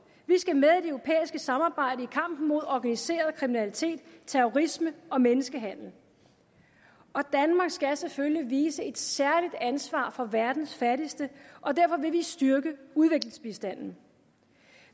vi skal med europæiske samarbejde i kampen mod organiseret kriminalitet terrorisme og menneskehandel danmark skal selvfølgelig vise et særligt ansvar for verdens fattigste og derfor vil vi styrke udviklingsbistanden